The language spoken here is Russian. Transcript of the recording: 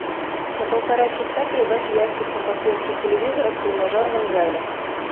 на полтора часа прибавь яркость на подсветке телевизора в тренажерном зале